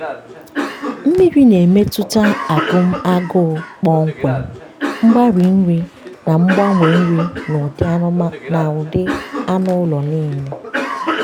mmiri na-emetụta agụm agụụ kpọmkwem mgbari nri na ngbanwe nri n'ụdị anụ ụlọ niile.